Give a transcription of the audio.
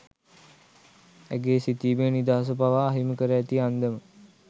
ඇගේ සිතීමේ නිදහස පවා අහිමි කර ඇති අන්දම